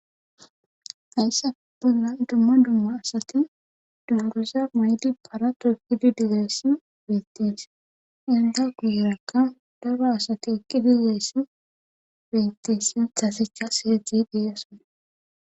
hayssa bolla dumma dumma asati dumduza mayidi para togidi digeyssi bettees inda guuyrakka dara asati ekki dileyssi beettisi tasecha seedzi deeasona